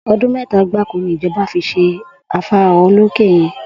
O̩dún mé̩ta gbáko ni ìjo̩ba fi s̩e afárá olókè ye̩n